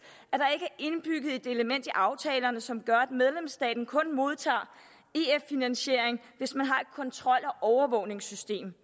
at aftalerne som gør at medlemsstaten kun modtager ef finansiering hvis man har et kontrol og overvågningssystem